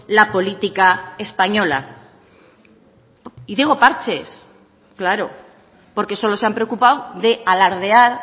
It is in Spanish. la política española y digo parches claro porque solo se han preocupado de alardear